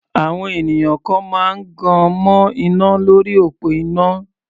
Àwọn ènìyàn kan máa gan mọ́ iná lórí òpó iná.